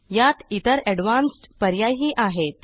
यात इतर एडवान्स्ड पर्यायही आहेत